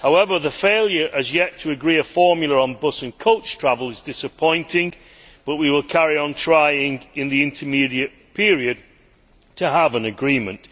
However, the failure as yet to agree a formula on bus and coach travel is disappointing, but we will carry on trying in the intermediate period to have an agreement.